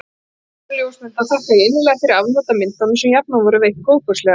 Eigendum ljósmynda þakka ég innilega fyrir afnot af myndum, sem jafnan voru veitt góðfúslega.